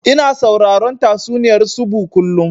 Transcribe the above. Ina sauraron tatsuniyar tsubu kullum